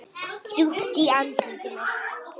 Djúpt í andlit mitt.